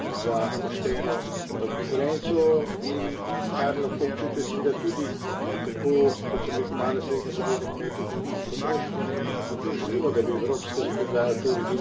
Gre torej za prakso, ki ni dobra za pošteno konkurenco in, kar lahko občutijo seveda tudi, tako kot sem rekel, mala, srednja podjetja, kmetje kot tudi potrošniki.